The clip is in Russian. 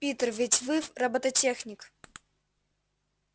питер ведь вы роботехник